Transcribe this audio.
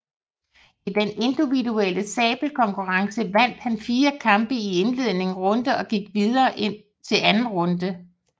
I den individuelle sabelkonkurrence vandt han fire kampe i indledende runde og gik videre til anden runde